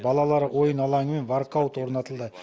балалар ойын алаңы мен воркаут орнатылды